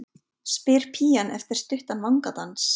spyr pían eftir stuttan vangadans.